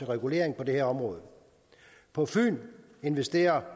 regulering på det her område på fyn investerer